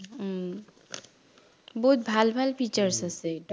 উম বহুত ভাল ভাল features আছে এইটো